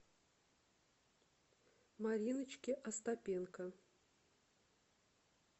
мариночки остапенко